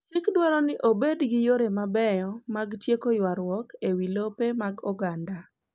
Chik dwaro ni obed gi yore mabeyo mag tieko ywarruok e wi lope mag oganda.